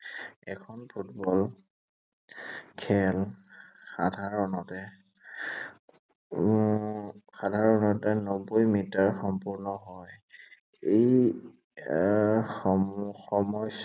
এখন ফুটবল খেল সাধাৰণতে উম সাধাৰণতে নব্বৈ মিটাৰ সম্পূৰ্ণ হয়। এই আহ সময় সময়